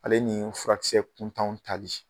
Ale nii furakisɛ kuntanw tali